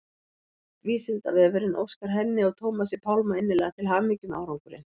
Vísindavefurinn óskar henni og Tómasi Pálmi innilega til hamingju með árangurinn.